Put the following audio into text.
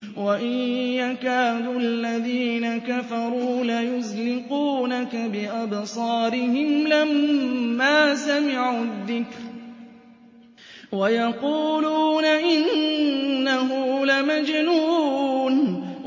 وَإِن يَكَادُ الَّذِينَ كَفَرُوا لَيُزْلِقُونَكَ بِأَبْصَارِهِمْ لَمَّا سَمِعُوا الذِّكْرَ وَيَقُولُونَ إِنَّهُ لَمَجْنُونٌ